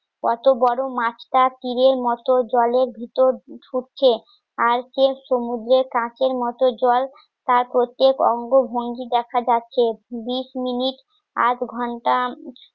কত বড় মাছটা তীরের মতো জলের ভিতর ছুটছে আর কেউ সমুদ্রের কাঁচের মতো জল তার প্রত্যেক অঙ্গ ভঙ্গি দেখা যাচ্ছে. বিশ মিনিট আধ ঘণ্টা